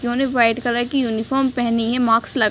इन्होंने white colour की uniform पहनी है मास्क ल --